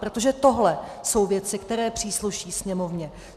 Protože tohle jsou věci, které přísluší Sněmovně.